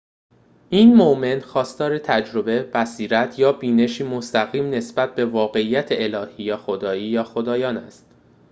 این مؤمن خواستار تجربه، بصیرت یا بینشی مستقیم نسبت به واقعیت الهی/خدا یا خدایان است